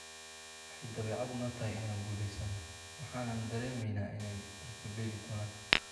"Waxay dabeecad noo tahay inaan guuleysano, waxaanan dareemaynay inay rajo beeli doonaan.